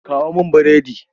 Kawo mun burodi!